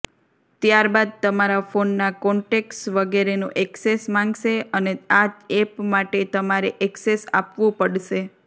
ત્યારબાદ તમારા ફોનના કોનટેક્ટ્સ વગેરેનું એક્સેસ માંગશે અને આ એપ માટે તમારે એક્સેસ આપવું પડશે